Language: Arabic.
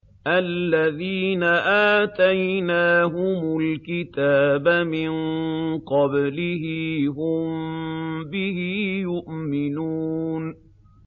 الَّذِينَ آتَيْنَاهُمُ الْكِتَابَ مِن قَبْلِهِ هُم بِهِ يُؤْمِنُونَ